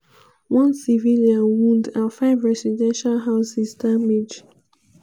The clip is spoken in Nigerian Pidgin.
one civilian wound and five residential houses damage.